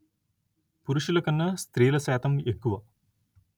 పురుషుల కన్నా స్త్రీల శాతం ఎక్కువ